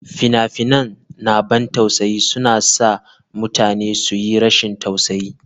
Fina-finan na ban tausayi suna sa mutane su yi rashin tausayi.